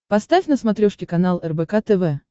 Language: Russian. поставь на смотрешке канал рбк тв